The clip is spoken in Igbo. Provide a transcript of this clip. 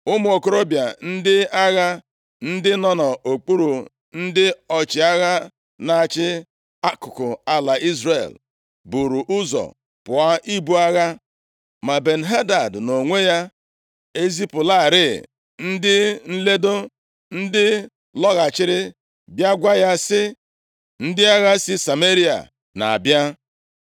ụmụ okorobịa, bụ ndị agha, ndị nọ nʼokpuru ndị ọchịagha na-achị akụkụ ala Izrel buru ụzọ pụọ ibu agha. Ma Ben-Hadad, nʼonwe ya ezipụlarị ndị nledo, ndị lọghachiri bịa gwa ya sị, “Ndị agha si Sameria na-abịa.”